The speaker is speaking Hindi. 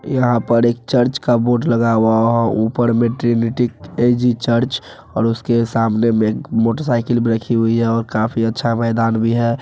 यहाँ पर एक चर्च का बोर्ड लगा हुआ है| वहाँ ऊपर मैटरनिटी एजी चर्च और उसके सामने में मोटर साइकल रखी हुई है काफी अच्छा मैदान भी है।